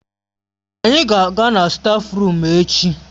Anyị ga-aga na stáfruum echi.